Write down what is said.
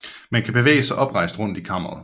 Man kan bevæge sig oprejst rundt i kammeret